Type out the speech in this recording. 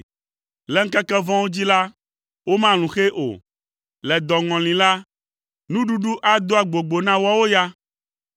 Le ŋkeke vɔ̃wo dzi la, womalũ xɛ o; le dɔŋɔli la, nuɖuɖu ado agbogbo na woawo ya.